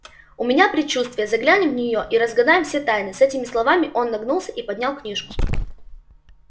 у меня предчувствие заглянем в неё и разгадаем все тайны с этими словами он нагнулся и поднял книжку